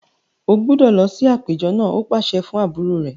O gbúdọ̀ lọ sí àpéjọ náà! ó pàṣẹ fún àbúrò rẹ̀.